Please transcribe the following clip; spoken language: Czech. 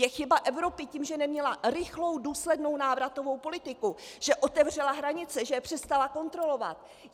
Je chyba Evropy, tím, že neměla rychlou důslednou návratovou politiku, že otevřela hranice, že je přestala kontrolovat.